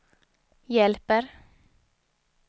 hjälper